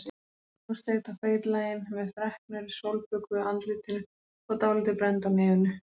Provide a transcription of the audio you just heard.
Brosleit og feitlagin með freknur í sólbökuðu andlitinu og dálítið brennd á nefinu.